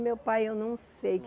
O meu pai, eu não sei.